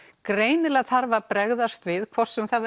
greinilega þarf að bregðast við hvort sem það